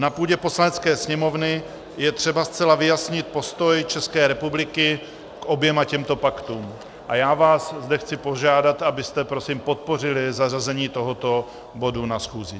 Na půdě Poslanecké sněmovny je třeba zcela vyjasnit postoj České republiky k oběma těmto paktům a já vás zde chci požádat, abyste prosím podpořili zařazení tohoto bodu na schůzi.